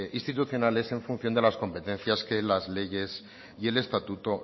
institucionales en función de las competencias que las leyes y el estatuto